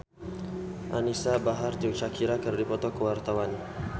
Anisa Bahar jeung Shakira keur dipoto ku wartawan